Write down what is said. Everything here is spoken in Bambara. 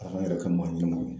ALA k'an yɛrɛ kɛ maa ɲɛnɛmaw